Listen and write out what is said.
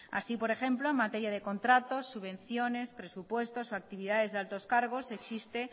así por ejemplo materia de contratos subvenciones presupuestos o actividades de altos cargos existe